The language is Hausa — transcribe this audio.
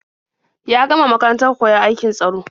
Ya gama makarantar koyon aikin tsaro.